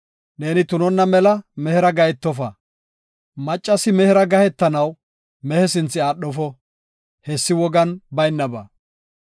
“Neeni tunonna mela mehera gahetofa; maccasi mehera gahetanaw mehe sinthe aadhofo. Hessi wogan baynaba.